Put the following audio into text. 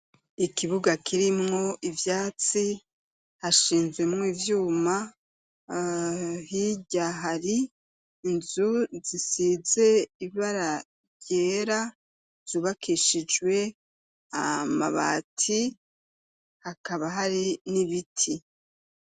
ikibuga kirimwo ivyatsi hashinzemwo ivyuma hirya hari inzu zisize ibara ryera zubakishijwe amabati hakaba hari n'ibiti